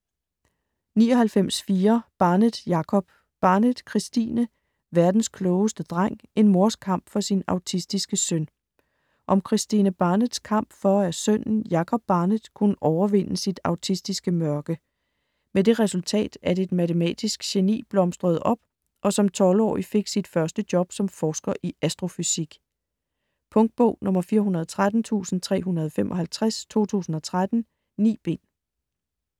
99.4 Barnett, Jacob Barnett, Kristine: Verdens klogeste dreng: en mors kamp for sin autistiske søn Om Kristine Barnetts kamp for at sønnen, Jacob Barnett, kunne overvinde sit autistiske mørke. Med det resultat at et matematisk geni blomstrede op og som 12-årig fik sit første job som forsker i astrofysik. Punktbog 413355 2013. 9 bind.